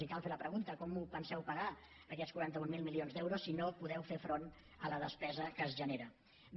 i cal fer la pregunta com els penseu pagar aquests quaranta mil milions d’euros si no podeu fer front a la despesa que es genera bé